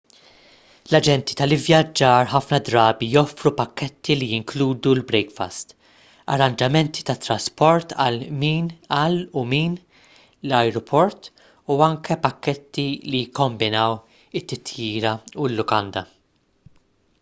l-aġenti tal-ivvjaġġar ħafna drabi joffru pakketti li jinkludu l-brekfast arranġamenti tat-trasport għal/minn l-ajruport u anki pakketti li jikkombinaw it-titjira u l-lukanda